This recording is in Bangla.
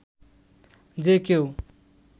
যে কেউ